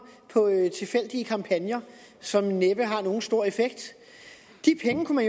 på tilfældige kampagner som næppe har nogen stor effekt de penge kunne